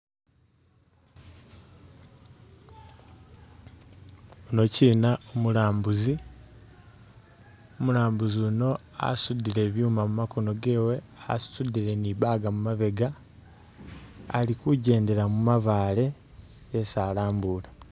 Unokyina umulambuzi umulambuzi unoyina asudile byuma mumakono gewe asudile ni bug mumabega ali kugyendela mumabaale yesi alambula.